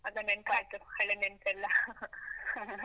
ಅದು ನೆನ್ಪಾಯ್ತು, ಹಳೆ ನೆನ್ಪೆಲ್ಲಾ .